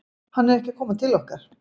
Hann er ekki að koma til okkar.